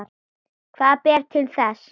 Hvað ber til þess?